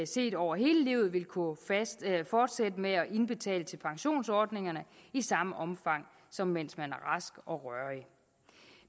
set over hele livet vil kunne fortsætte med at indbetale til pensionsordningerne i samme omfang som mens man er rask og rørig